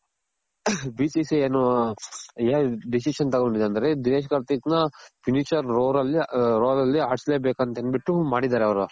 B C C ಏನು decision ತಗೊಂಡಿದೆ ಅಂದ್ರೆ ದಿನೇಶ್ ಕಾರ್ತಿಕ್ ನ finisher roller ಅಲ್ಲಿ ಆಡ್ಸ್ಲೇ ಬೇಕು ಅಂತ ಅಂದ್ ಬಿಟ್ಟು ಮಾಡಿದಾರೆ ಅವ್ರು